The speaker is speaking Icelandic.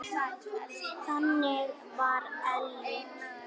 Þannig var Elli.